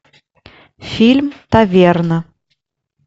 фильм таверна